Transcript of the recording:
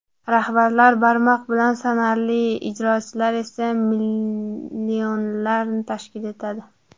Rahbarlar barmoq bilan sanarli, ijrochilar esa millionlarni tashkil etadi.